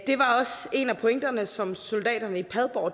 det var også en af pointerne som soldaterne i padborg